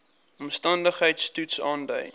omstandigheids toets aandui